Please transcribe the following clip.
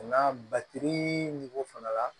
Nka batiri fana la